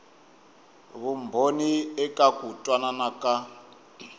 vumbhoni eka ku twanana ka